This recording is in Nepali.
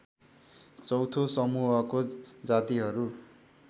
चौथो समूहको जातिहरू